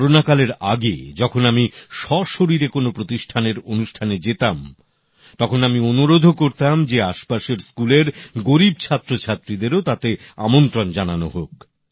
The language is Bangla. করোনা মহামারীর আগে যখন আমি সশরীরে কোনো প্রতিষ্ঠানের অনুষ্ঠানে যেতাম তখন আমি অনুরোধও করতাম যে আশপাশের স্কুলের গরিব ছাত্রছাত্রীদেরও তাতে আমন্ত্রণ জানানো হোক